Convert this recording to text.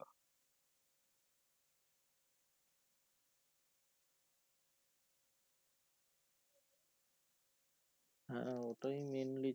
হ্যাঁ ওটাই mainly